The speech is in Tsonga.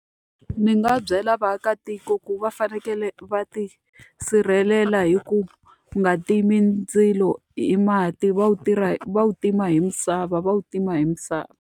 Ndzi nga byela vaakatiko ku va fanekele va ti sirhelela hi ku nga timi ndzilo hi mati, va wu va wu tima hi misava va wu tima hi misava.